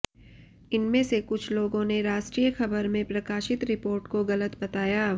इनमें से कुछ लोगों ने राष्ट्रीय खबर में प्रकाशित रिपोर्ट को गलत बताया